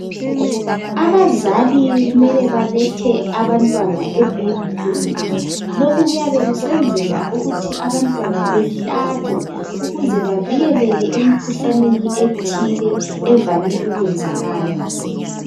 Abazali kumele balethe abantwana ebaby clinic. Lokhu kuyabe kusenzelwa ukuthi abantwana behlatshwe, ukuze bavileke emkhuhlaneni ethile. Evame ukwenzakala.